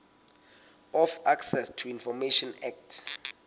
of access to information act